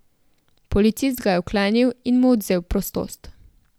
Policist ga je vklenil in mu odvzel prostost.